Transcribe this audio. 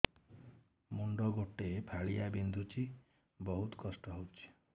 ମୁଣ୍ଡ ଗୋଟେ ଫାଳିଆ ବିନ୍ଧୁଚି ବହୁତ କଷ୍ଟ ହଉଚି